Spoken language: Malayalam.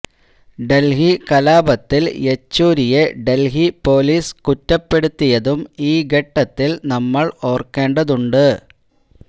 ഡൽഹി കലാപത്തിൽ യെച്ചൂരിയെ ഡൽഹി പൊലീസ് കുറ്റപ്പെടുത്തിയതും ഈ ഘട്ടത്തിൽ നമ്മൾ ഓർക്കേണ്ടതുണ്ട്